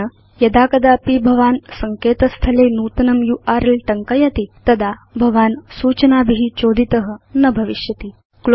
तेन यदा कदापि भवान् सङ्केत स्थले नूतनं यूआरएल टङ्कयति तदा भवान् सूचनाभि चोदित न भविष्यति